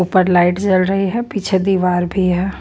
ऊपर लाइट जल रही है पीछे दीवार भी है।